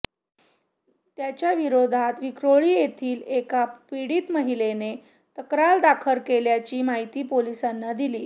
त्याच्या विरोधात विक्रोळी येथील एका पीडित महिलेनेही तक्रार दाखल केल्याची माहिती पोलिसांनी दिली